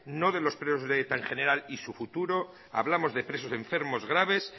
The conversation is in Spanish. no de los periodos de eta en general y su futuro hablamos de presos enfermos graves